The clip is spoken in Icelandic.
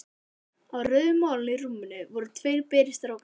Í rauðmáluðu rúminu voru tveir berir strákar.